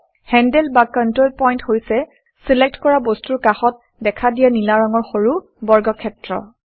handle বা control point হৈছে select কৰা বস্তুৰ কাষত দেখা দিয়া নীলা ৰঙৰ সৰু বৰ্গক্ষেত্ৰ